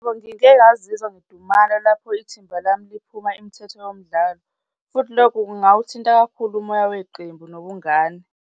Ngikengazizwa ngidumala lapho ithimba lami liphuma imithetho yomdlalo futhi lokho kungawuthinta kakhulu umoya weqembu nobungane.